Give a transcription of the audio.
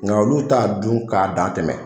Nka olu t'a dun k'a dantɛmɛ